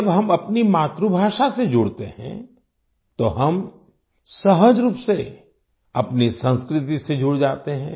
जब हम अपनी मातृभाषा से जुड़ते हैं तो हम सहज रूप से अपनी संस्कृति से जुड़ जाते हैं